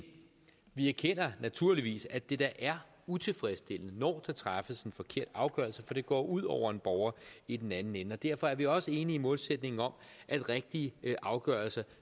vi erkender naturligvis at det da er utilfredsstillende når der træffes en forkert afgørelse for det går ud over en borger i den anden ende og derfor er vi også enige i målsætningen om at rigtige afgørelser